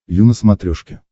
ю на смотрешке